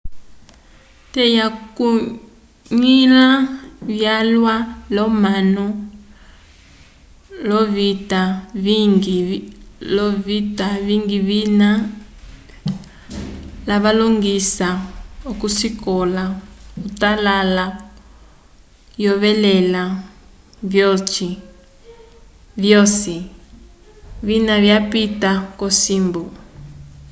te wakunlya vyalwa lo manu lovitwa vingi vina valongisa kosikola otala oyevelela vyoci vina vyapita kocimbu